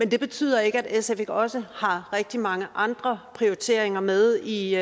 det betyder ikke at sf ikke også har rigtig mange andre prioriteringer med i